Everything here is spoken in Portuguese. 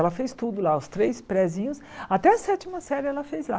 Ela fez tudo lá, os três prézinhos, até a sétima série ela fez lá.